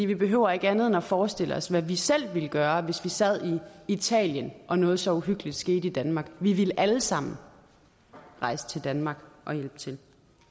vi behøver ikke andet end at forestille os hvad vi selv ville gøre hvis vi sad i italien og noget så uhyggeligt skete i danmark vi ville alle sammen rejse til danmark og hjælpe til